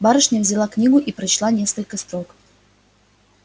барышня взяла книгу и прочла несколько строк